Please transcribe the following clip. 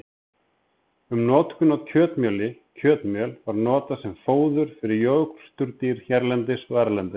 Um notkun á kjötmjöli Kjötmjöl var notað sem fóður fyrir jórturdýr hérlendis og erlendis.